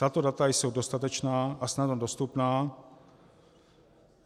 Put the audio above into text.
Tato data jsou dostatečná a snadno dostupná.